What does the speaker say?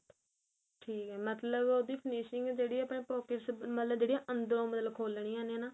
ਠੀਕ ਏ ਮਤਲਬ ਉਹਦੀ finishing ਜਿਹੜੀ ਏ ਆਪਣੇ pockets ਮਤਲਬ ਜਿਹੜੀ ਆ ਅੰਦਰੋ ਮਤਲਬ ਖੋਲਣੀਆ ਨੇ ਨਾ